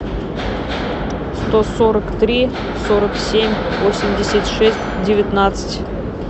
сто сорок три сорок семь восемьдесят шесть девятнадцать